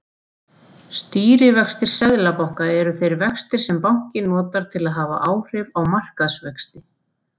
Stýrivextir seðlabanka eru þeir vextir sem bankinn notar til að hafa áhrif á markaðsvexti.